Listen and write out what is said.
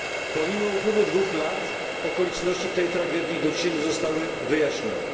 Pomimo upływu dwóch lat okoliczności tej tragedii do dzisiaj nie zostały wyjaśnione.